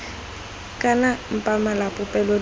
kana mpa mala popelo ditlha